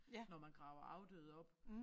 Når man graver afdøde op